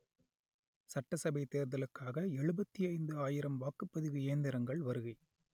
சட்டசபை தேர்தலுக்காக எழுபத்தி ஐந்து ஆயிரம் வாக்குப்பதிவு இயந்திரங்கள் வருகை